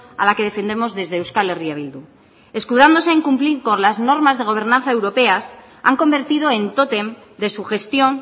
a la que defendemos desde euskal herria bildu escudándose en cumplir con las normas de gobernanza europeas han convertido en tótem de su gestión